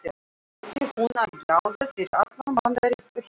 Átti hún að gjalda fyrir allan bandaríska herinn?